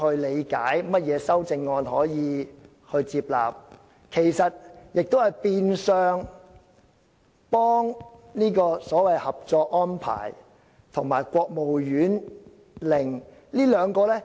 你是否接納修正案，其實是變相幫助所謂《合作安排》及國務院令的實施。